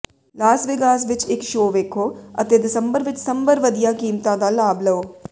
Las Vegas ਵਿੱਚ ਇੱਕ show ਵੇਖੋ ਅਤੇ ਦਸੰਬਰ ਵਿੱਚ ਸੰਭਵ ਵਧੀਆ ਕੀਮਤਾਂ ਦਾ ਲਾਭ ਲਓ